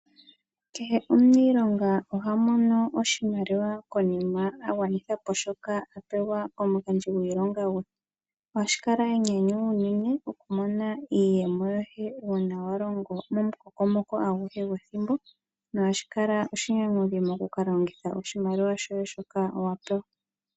Kehe omuniilonga oha mono oshimaliwa konima a gwanitha po shoka a pewa komugandji gwiilonga gwe. Ohashi kala enyanyu enene oku mona iiyemo uuna wa longo momukokomoko aguhe gwethimbo. Nohashi kala oshinyanyudhi oku ka longitha oshimaliwa shoye shoka wa pewa.